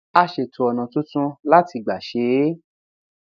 a ṣètò ònà tuntun láti gbà ṣe é